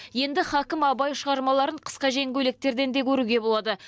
енді һакім абай шығармаларын қысқа жең көйлектерден де көруге болады